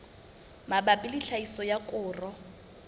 mabapi le tlhahiso ya koro